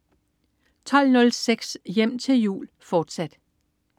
12.06 Hjem til jul, fortsat